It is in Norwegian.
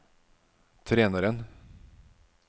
treneren